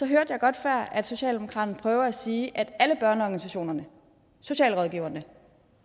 hørte jeg godt før at socialdemokraterne prøvede at sige at alle børneorganisationerne socialrådgiverne